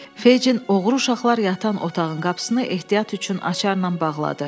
Feycin oğru uşaqlar yatan otağın qapısını ehtiyat üçün açarla bağladı.